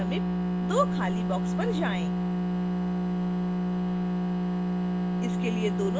260 के समीप दो खाली boxes पर जाएँ